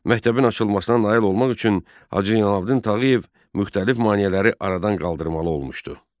Məktəbin açılmasına nail olmaq üçün Hacı Zeynəlabdin Tağıyev müxtəlif maneələri aradan qaldırmalı olmuşdu.